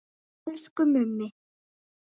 Elsku Mummi.